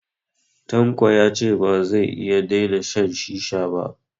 Tanko ya ce ba zai iya daina shan shisha ba